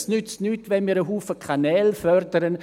Es nützt nichts, wenn wir zahlreiche Kanäle fördern;